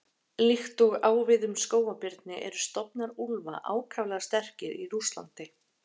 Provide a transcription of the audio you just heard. Líkt og á við um skógarbirni eru stofnar úlfa ákaflega sterkir í Rússlandi.